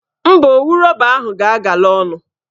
Mba, owu rọba ahụ ga-agala ọnụ